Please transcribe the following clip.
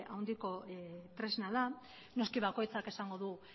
handiko tresna da noski bakoitzak esango du